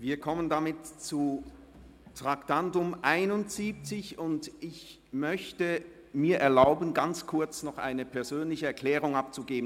Wir kommen zum Traktandum 71, und ich erlaube mir, ganz kurz eine persönliche Erklärung abzugeben.